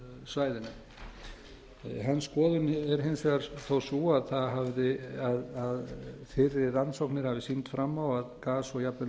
svæðinu hans skoðun er hins vegar þó sú að fyrri rannsóknir hafi sýnt fram á að gas og jafnvel